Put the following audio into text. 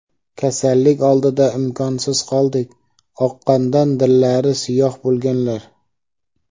"Kasallik oldida imkonsiz qoldik" – oqqondan dillari siyoh bo‘lganlar.